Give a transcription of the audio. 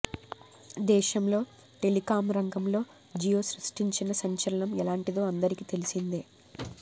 దేశంలో టెలికాం రంగంలో జియో సృష్టించిన సంచలనం ఎలాంటిదో అందరికీ తెలిసిందే